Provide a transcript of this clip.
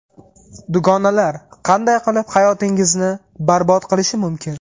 Dugonalar qanday qilib hayotingizni barbod qilishi mumkin?.